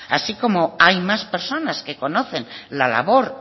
así como hay más personas que conocen la labor